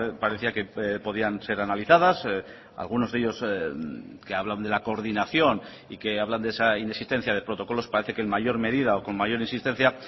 parecía que podían ser analizadas algunos de ellos que hablan de la coordinación y que hablan de esa inexistencia de protocolos parece que en mayor medida o con mayor insistencia